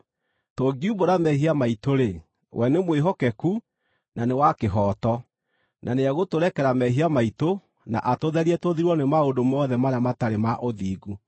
Tũngiumbũra mehia maitũ-rĩ, we nĩ mwĩhokeku na nĩ wa kĩhooto, na nĩegũtũrekera mehia maitũ na atũtherie tũthirwo nĩ maũndũ mothe marĩa matarĩ ma ũthingu.